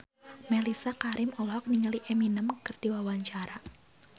Mellisa Karim olohok ningali Eminem keur diwawancara